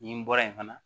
Nin bɔra yen fana